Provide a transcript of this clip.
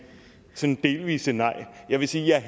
sådan delvise nej jeg vil sige at